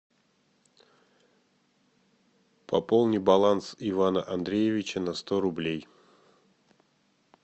пополни баланс ивана андреевича на сто рублей